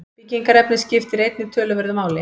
Byggingarefnið skiptir einnig töluverðu máli.